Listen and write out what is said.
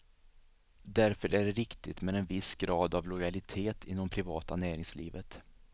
Därför är det riktigt med en viss grad av lojalitet inom privata näringslivet.